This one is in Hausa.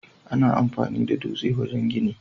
Ana amfani da dutse wajen gini.